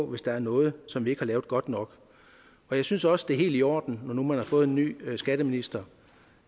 hvis der er noget som vi ikke har lavet godt nok jeg synes også det er helt i orden når nu man har fået en ny skatteminister